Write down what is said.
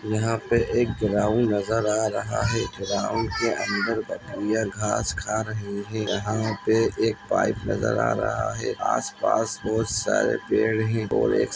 यहाँ पर एक ग्राउंड नजर आ रहा है ग्राउंड के अंदर बकरियां घास खा रही है यहाँ पर एक पाइप नजर आ रहा है आस पास बहुत सारे पेड़ ही --